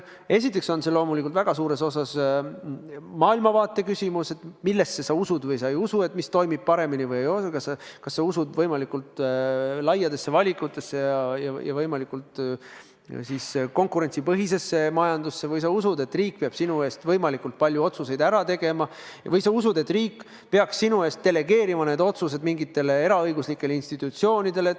Esiteks on see loomulikult väga suures osas maailmavaate küsimus: millesse sa usud või ei usu, mis sinu arvates toimib paremini, kas sa usud võimalikult laiadesse valikutesse ja võimalikult konkurentsipõhisesse majandusse või sa usud, et riik peab sinu eest võimalikult palju otsuseid ära tegema, või sa usud, et riik peaks sinu eest delegeerima need otsused mingitele eraõiguslikele institutsioonidele.